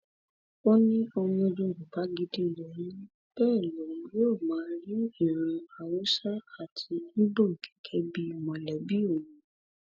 ó ní ọmọ yorùbá gidi lòun bẹẹ lòun yóò máa rí ìran haúsá àti ibo gẹgẹ bíi mọlẹbí òun